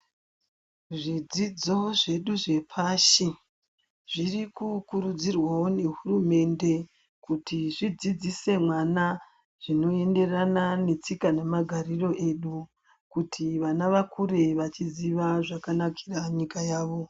Zvidzidzo zvedu zvepashi zviri kukurudzirwao nehurumende kuti zvidzidzise mwana zvinoenderana netsika nemagariro esu kuti vana vakure vaachiziva zvakanakira nyika yavo.